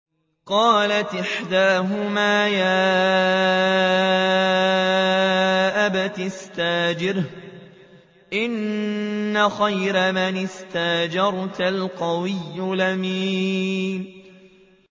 قَالَتْ إِحْدَاهُمَا يَا أَبَتِ اسْتَأْجِرْهُ ۖ إِنَّ خَيْرَ مَنِ اسْتَأْجَرْتَ الْقَوِيُّ الْأَمِينُ